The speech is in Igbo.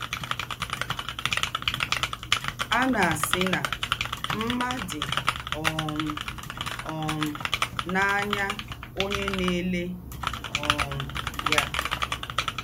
À nà-àsị̣ nà mmá dị́ um um n’áyá ǒnyẹ́ nà-èlẹ́ um yá.